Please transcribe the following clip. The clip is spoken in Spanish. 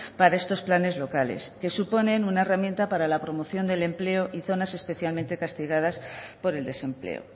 para estos planes locales que suponen una herramienta para la promoción del empleo y zonas especialmente castigadas por el desempleo